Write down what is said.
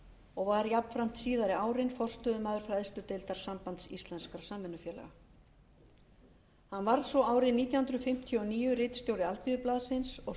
og var jafnframt síðari árin forstöðumaður fræðsludeildar sambands íslenskra samvinnufélaga hann varð svo árið nítján hundruð fimmtíu og níu ritstjóri alþýðublaðsins og